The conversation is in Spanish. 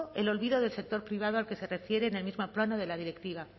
el olvido del sector privado al que se refiere en el mismo plano de la directiva